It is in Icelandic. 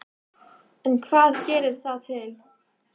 En hvað gerir það til